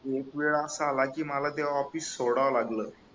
आणि एक वेळ असा आला की मला ते ऑफिस सोडावं लागल